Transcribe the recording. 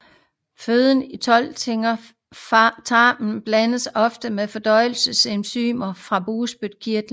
Føden i tolvfingertarmen blandes også med fordøjelsesenzymer fra bugspytkirtlen